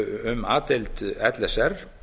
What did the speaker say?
um a deild l s r